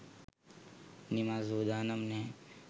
නිමල් සූදානම් නැහැ.